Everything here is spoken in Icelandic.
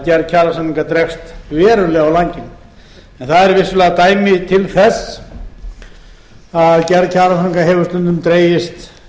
gerð kjarasamninga dregst verulega á langinn það eru vissulega dæmi til þess að gerð kjarasamninga hefur stundum dregist